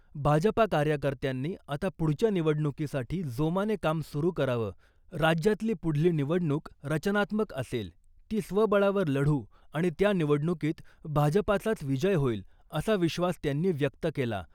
भाजपा कार्यकर्त्यांनी आता पुढच्या निवडणुकीसाठी जोमाने काम सुरू करावं , राज्यातली पुढली निवडणूक रचनात्मक असेल , ती स्वबळावर लढू आणि त्या निवडणुकीत भाजपाचाच विजय होईल , असा विश्वास त्यांनी व्यक्त केला .